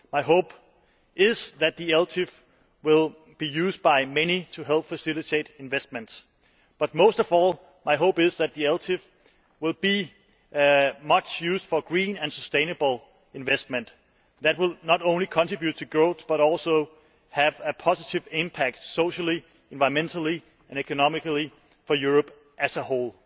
My hope is that the ELTIF will be used by many to help facilitate investment but, most of all, my hope is that the ELTIF will be much used for green and sustainable investment that will not only contribute to growth but also have a positive impact socially, environmentally and economically for Europe as a whole.